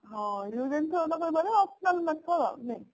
use and Through optional method